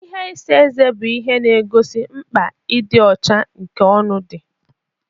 Ihe isa eze bụ ihe na-egosi mkpa ịdị ọcha nke ọnụ dị.